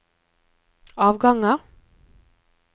avganger